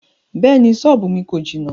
Bẹ́ẹ̀ni, sọ́ọ́bù mi kò jìnà.